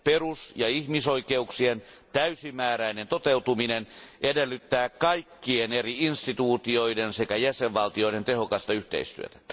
Perus ja ihmisoikeuksien täysimääräinen toteutuminen edellyttää kaikkien eri instituutioiden sekä jäsenvaltioiden tehokasta yhteistyötä.